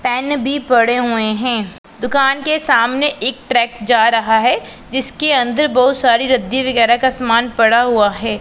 Pen भी पड़े हुए हैं दुकान के सामने एक ट्रक जा रहा है जिसके अंदर बहुत सारी रद्दी वगैरह का सामान पड़ा हुआ है।